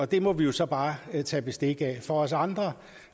det må vi jo så bare tage bestik af for os andre